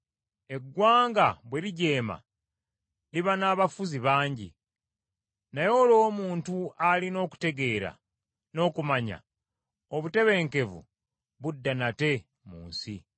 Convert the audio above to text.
Eggwanga bwe lijeema, liba n’abafuzi bangi, naye olw’omuntu alina okutegeera n’okumanya obutebenkevu budda nate mu nsi.